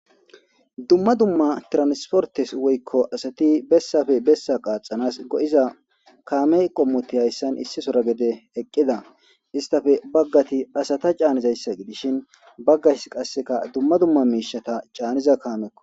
Dumma dumma tiransportes woykko asati besafe bessa qaaxanas go'za kaame qommoti hayssan issi sora gede eqqida istafe baggati asata canizayssa gidishin baggays qasseka dumma dumma miishata caaniza kaameko.